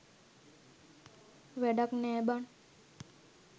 වැඩක් නැ බන්